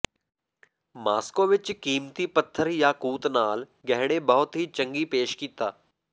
Moscow ਵਿੱਚ ਕੀਮਤੀ ਪੱਥਰ ਯਾਕੂਤ ਨਾਲ ਗਹਿਣੇ ਬਹੁਤ ਹੀ ਚੰਗੀ ਪੇਸ਼ ਕੀਤਾ